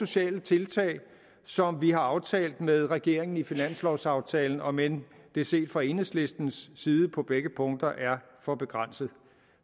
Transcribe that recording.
sociale tiltag som vi har aftalt med regeringen i finanslovaftalen om end det set fra enhedslistens side på begge punkter er for begrænset